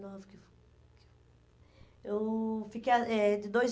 Eu fiquei ah eh de dois